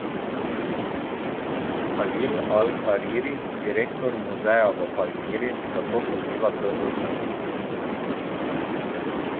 Kalil Al Hariri, direktor Muzeja v Palmiri, zato poziva k obnovitvi.